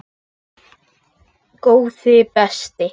Góði besti!